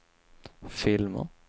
filmer